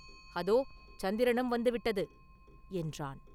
அதோ சந்திரனும் வந்து விட்டது” என்றான்.